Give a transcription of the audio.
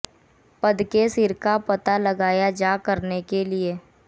पद के सिर का पता लगाया जा करने के लिए